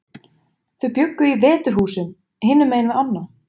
Þau bjuggu í Veturhúsum, hinum megin við ána.